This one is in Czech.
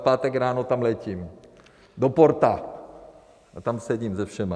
V pátek ráno tam letím, do Porta, a tam sedím se všemi.